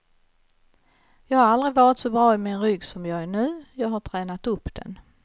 Jag har aldrig varit så bra i min rygg som jag är nu, jag har tränat upp den.